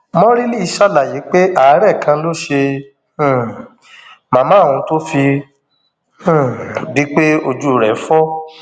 mọrílì ṣàlàyé pé àárẹ kan ló ṣe um màmá òun tó fi um di pé ojú rẹ fọ